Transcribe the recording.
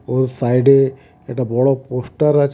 ওর সাইডে একটা বড় পোস্টার আছে.